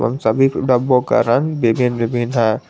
उन सभी डब्बे को का रंग विभिन्न विभिन्न है।